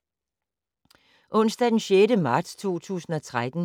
Onsdag d. 6. marts 2013